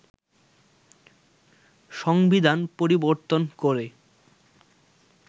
সংবিধান পরিবর্তন করে